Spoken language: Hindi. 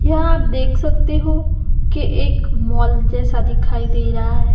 यहां आप देख सकते हो कि एक मॉल जैसा दिखाई दे रहा है।